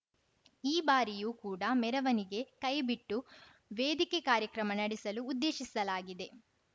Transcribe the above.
ಈ ಬಾರಿಯೂ ಕೂಡ ಮೆರವಣಿಗೆ ಕೈಬಿಟ್ಟು ವೇದಿಕೆ ಕಾರ್ಯಕ್ರಮ ನಡೆಸಲು ಉದ್ದೇಶಿಸಲಾಗಿದೆ